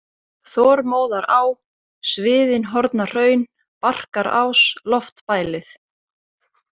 Þormóðará, Sviðinhornahraun, Barkarás, Loftbælið